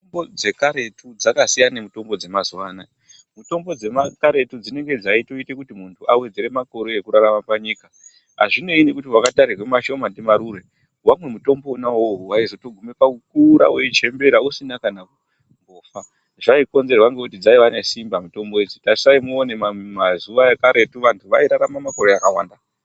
Mitombo dzekaretu dzakasiyana nemitombo dzemazuwa anaya. Mitombo dzekaretu dzinenge dzaitoite kuti muntu awedzera makore ekurarama panyika. Azvinei nekuti wakatarirwe mashoma ndimarure. Wamwa mutombo wona iwowo waizotogume pakukura weichembera usina kana kumbofa. Zvaikonzerwa ngekuti dzaiva nesimba mitombo idzi. Tarisai muone mazuwa ekaretu vantu vairarama makore akawanda.